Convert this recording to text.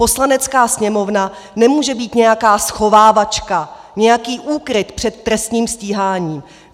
Poslanecká sněmovna nemůže být nějaká schovávačka, nějaký úkryt před trestním stíháním.